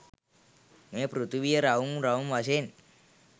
මේ පෘථිවිය රවුම් රවුම් වශයෙන්